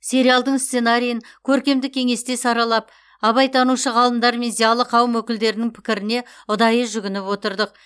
сериалдың сценарийін көркемдік кеңесте саралап абайтанушы ғалымдар мен зиялы қауым өкілдерінің пікіріне ұдайы жүгініп отырдық